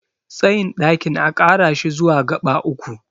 tsayin ɗakin a Kara shi zuwa gaba uku